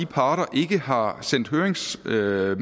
parter ikke har sendt høringsmateriale